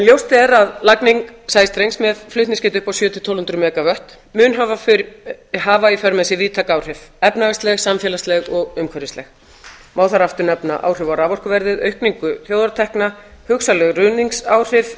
ljóst er að lagning sæstrengs með flutningsgetu upp á sjö hundruð til tólf hundruð mega vött mun hafa í för með sér víðtæk áhrif efnahagsleg samfélagsleg og umhverfisleg má þar aftur nefna áhrif á raforkuverðið aukningu þjóðartekna hugsanleg ruðningsáhrif